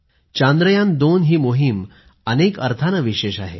2 ही मोहीम अनेक अर्थानं विशेष आहे